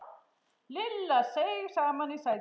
Lilla seig saman í sætinu.